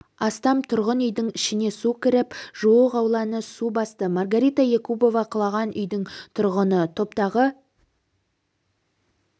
астам тұрғын үйдің ішіне су кіріп жуық ауланы су басты маргарита якубова құлаған үйдің тұрғыны топтағы